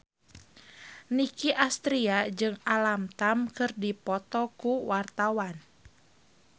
Nicky Astria jeung Alam Tam keur dipoto ku wartawan